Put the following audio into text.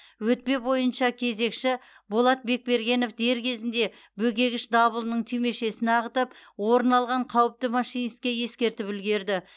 өтпе бойынша кезекші болат бекбергенов дер кезінде бөгегіш дабылының түймешесін ағытып орын алған қауіпті машинистке ескертіп үлгерді